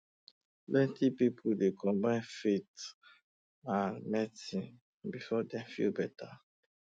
plenty people dey combine faith and um medicine um before dem feel better um